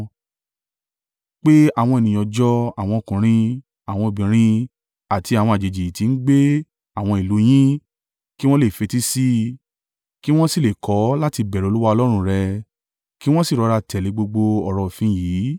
Pe àwọn ènìyàn jọ àwọn ọkùnrin, àwọn obìnrin àti àwọn àjèjì tí ń gbé àwọn ìlú u yín kí wọn lè fetí sí i kí wọn sì lè kọ́ láti bẹ̀rù Olúwa Ọlọ́run rẹ kí wọn sì rọra tẹ̀lé gbogbo ọ̀rọ̀ òfin yìí.